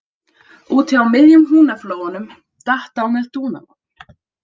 Úti á miðjum Húnaflóanum datt á með dúnalogn